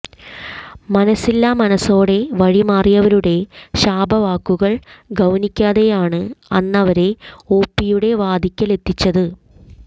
മനസ്സില്ലാമനസ്സോടെ വഴി മാറിയവരുടെ ശാപവാക്കുകൾ ഗൌനിക്കാതെയാണ് അന്നവരെ ഓപിയുടെ വാതിൽക്കലെത്തിച്ചത്